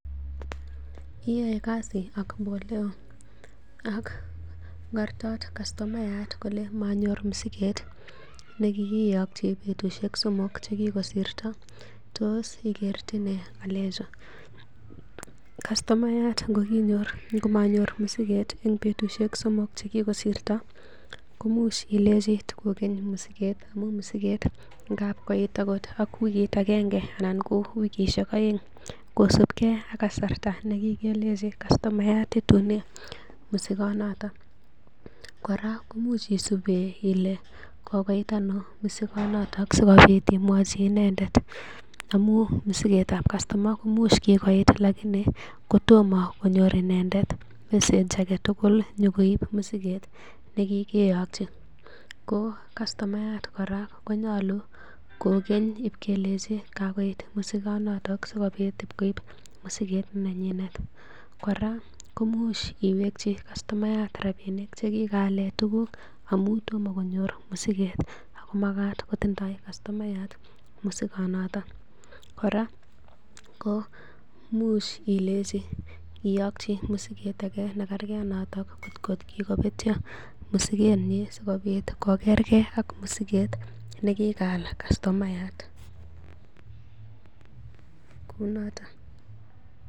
Iyae kasi ak Boleo ako ngortot customayat kole manyor msiget nikiykchi petushek somok chekikosirto tos ikertine ngalechu? Kastomayat ngomanyor mosiget en betusiek somok che kigosirto komuch ilenji tokogen mosiget amun mosiket ngab koit agot wikit agenge agoi wikishek oeng kosipge ak kasarta nekikelnchi kastomayat itune mosikonoto. Kora koimuch isuben ile kogoit ano mosikonoto sikobit imwochi inendet amun mosiket ab kastab koimuch kigoit lakini kotomo konyor inendet message age tugul nyokoib mosiket ne kigeyokyi ko kastomayat kora konyolu kogen ipkelenchi kagoit mosikonoto sikobit koib mosiket nenyinet, kora koimuch iwekyi kastomayat rabinik che kigaalen tuguk amun tomokonyor mosiket ago magat kotindoi kastomayat mosikonoto. Kora ko imuch ilenji, iyokyi mosiket age nekerke ak noto kotko kigobetyo mosikenyin sikobit kokerke ak mosiket nekigaal kostomayat, kounoto.